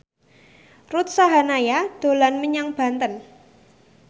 Ruth Sahanaya dolan menyang Banten